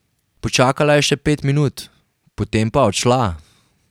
Počakala je še pet minut, potem pa odšla.